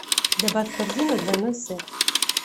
добавь в корзину двойной сет